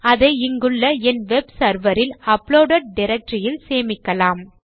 அதை இங்குள்ள என் வெப் செர்வர் இல் அப்லோடெட் டைரக்டரி இல் சேமிக்கலாம்